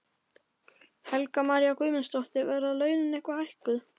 Helga María Guðmundsdóttir: Verða launin eitthvað hækkuð?